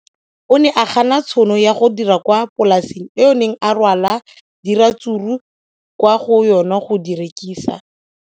O ne a gana tšhono ya go dira kwa polaseng eo a neng rwala diratsuru kwa go yona go di rekisa.